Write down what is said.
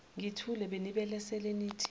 ngithule benibelesele nithi